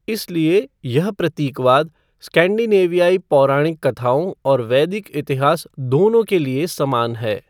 इसलिए यह प्रतीकवाद स्कैंडिनेवियाई पौराणिक कथाओं और वैदिक इतिहास दोनों के लिए समान है।